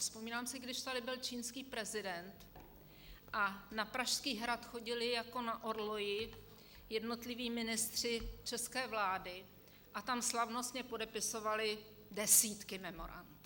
Vzpomínám si, když tady byl čínský prezident a na Pražský hrad chodili jako na orloji jednotliví ministři české vlády a tam slavnostně podepisovali desítky memorand.